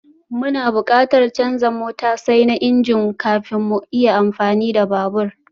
Muna buƙatar canza matosai na injin kafin mu iya amfani da babur